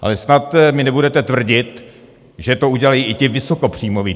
Ale snad mi nebudete tvrdit, že to udělají i ti vysokopříjmoví.